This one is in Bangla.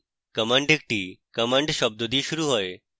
command একটি command শব্দ দিয়ে শুরু হয়